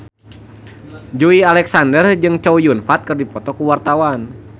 Joey Alexander jeung Chow Yun Fat keur dipoto ku wartawan